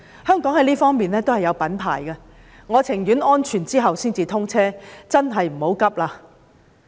香港在這方面是有品牌的，我寧願確定安全後才通車，這真的急不來。